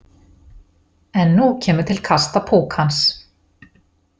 En nú kemur til kasta púkans.